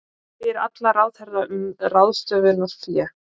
Spyr alla ráðherra um ráðstöfunarfé